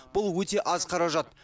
бұл өте аз қаражат